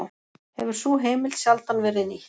Hefur sú heimild sjaldan verið nýtt